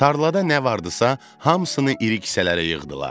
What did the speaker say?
Tarlada nə vardısa, hamısını iri kisələrə yığdılar.